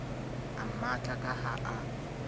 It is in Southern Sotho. a mmatla ka ha a